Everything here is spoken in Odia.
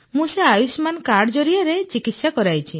ମୁଁ ସେ ଆୟୁଷ୍ମାନ କାର୍ଡ ଜରିଆରେ ଚିକିତ୍ସା କରାଇଲି